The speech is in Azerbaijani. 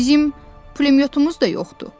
Bizim pulemyotumuz da yoxdur.